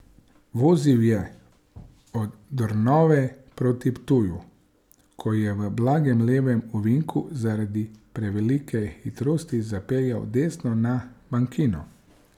Vozil je od Dornave proti Ptuju, ko je v blagem levem ovinku zaradi prevelike hitrosti zapeljal desno na bankino.